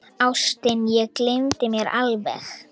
Ástin, ég gleymdi mér alveg!